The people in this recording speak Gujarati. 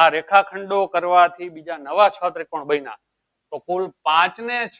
આ રેખાખંડો કરવાથી બીજા નવા છ ત્રીકોણ બન્યા તો કુલ પાંચ ને છ